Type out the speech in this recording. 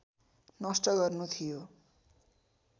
नष्ट गर्नु थियो